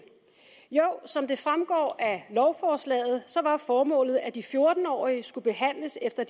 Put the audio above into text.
som det fremgår af lovforslaget var formålet at de fjorten årige skulle behandles efter